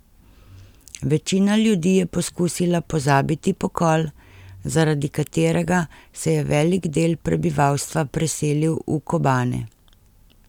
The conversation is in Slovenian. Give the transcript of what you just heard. Večina ljudi je poskusila pozabiti pokol, zaradi katerega se je velik del prebivalstva preselil v Kobane.